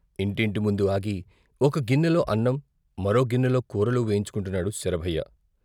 ఇంటింటి ముందు ఆగి ఒక గిన్నెలో అన్నం మరో గిన్నెలో కూరలు వేయించు కుంటున్నాడు శరభయ్య.